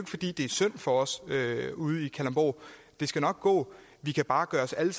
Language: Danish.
fordi det er synd for os i kalundborg det skal nok gå det kan bare gøre os alle